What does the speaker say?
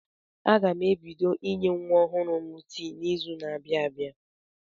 Aga m ebido inye nwa ọhụrụ m tii n'izu na-abịa abịa.